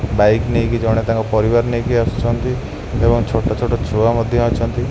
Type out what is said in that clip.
Bike ନେଇକି ଜଣେ ତାଙ୍କ ପରିବାର ନେଇକି ଆସୁଛନ୍ତି ଏବଂ ଛୋଟ ଛୋଟ ଛୁଆ ମଧ୍ୟ ଅଛନ୍ତି।